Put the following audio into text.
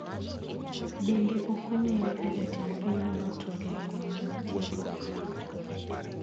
Bende okong`ere ka jatend pinyno notwak e romo mar tiegruokno.